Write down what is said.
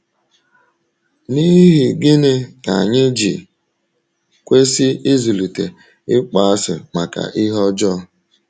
N’ihi gịnị ka anyị ji kwesị ịzụlite ịkpọasị maka ihe ọjọọ?